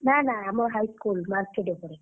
ନା ନା ଆମ high school market ଉପରେ।